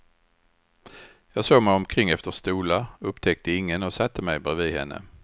Jag såg mig omkring efter stolar, upptäckte ingen och satte mig bredvid henne.